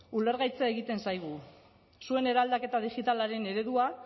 ulergaitza egiten zaigu zuen eraldaketa digitalaren eredua